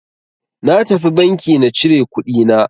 Na tafi banki na cire kuɗi na.